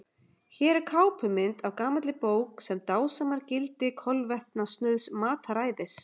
Hér er kápumynd af gamalli bók sem dásamar gildi kolvetnasnauðs mataræðis.